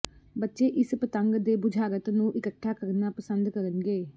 ਬੱਚੇ ਇਸ ਪਤੰਗ ਦੇ ਬੁਝਾਰਤ ਨੂੰ ਇਕੱਠਾ ਕਰਨਾ ਪਸੰਦ ਕਰਨਗੇ